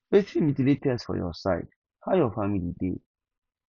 wetin be di latest for your side how your family dey